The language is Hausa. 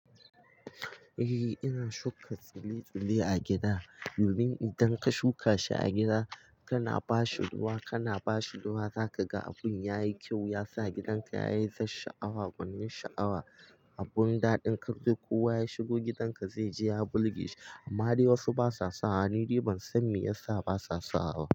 Eh ina shuka tsile-tsile a gida domin idan ka shuka shi a gida kana ba shi ruwa, kana ba shi ruwa za ka ga abin yayi kyau, yasa gidanka yayi zasha'awa, gwanin sha'awa. Abun daɗin kande kowa ya shigo gidanka zai ji ya bulge amma dai wasu basa sawa. Ni ban san me yasa basa sawa ba.